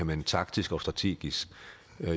man taktisk og strategisk